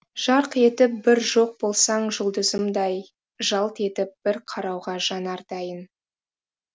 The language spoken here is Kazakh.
жарқ етіп бір жоқ болсаң жұлдызымдай жалт етіп бір қарауға жанар дайын